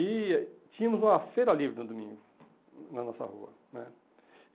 E tínhamos uma feira livre no domingo, na nossa rua né.